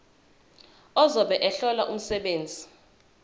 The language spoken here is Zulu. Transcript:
ozobe ehlola umsebenzi